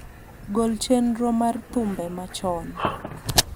gol chenro mar thumbe machon